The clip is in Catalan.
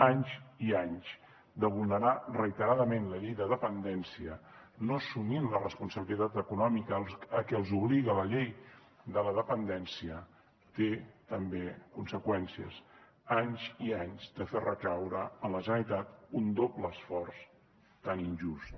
anys i anys de vulnerar reiteradament la llei de dependència no assumir la responsabilitat econòmica a què els obliga la llei de la dependència té també conseqüències anys i anys de fer recaure en la generalitat un doble esforç tan injust